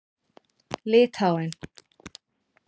Litháen